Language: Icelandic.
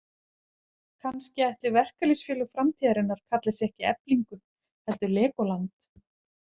Kannski ætli verkalýðsfélög framtíðarinnar kalli sig ekki Eflingu heldur Lególand.